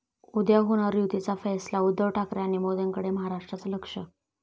उद्या होणार युतीचा फैसला? उद्धव ठाकरे आणि मोदींकडे महाराष्ट्राचं लक्ष!